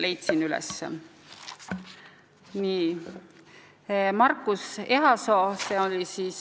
Leidsin üles!